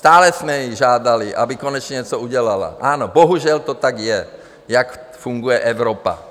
Stále jsme ji žádali, aby konečně něco udělala - ano, bohužel to tak je, tak funguje Evropa.